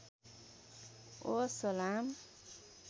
ओ सलाम